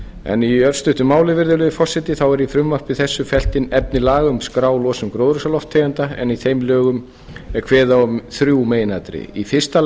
en í örstuttu máli virðulegi forseti þá er í frumvarpi þessu fellt inn efni laga um að skrá losun gróðurhúsalofttegunda en í þeim lögum er kveðið á um þrjú meginatriði í fyrsta